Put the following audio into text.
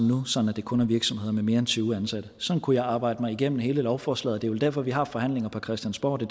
nu sådan at det kun er virksomheder med mere end tyve ansatte sådan kunne jeg arbejde mig igennem hele lovforslaget det er vel derfor vi har forhandlinger på christiansborg det